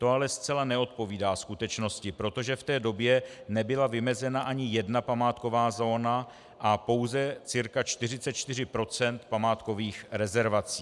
To ale zcela neodpovídá skutečnosti, protože v té době nebyla vymezena ani jedna památková zóna a pouze cca 44 % památkových rezervací.